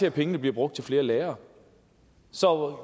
at pengene bliver brugt til flere lærere så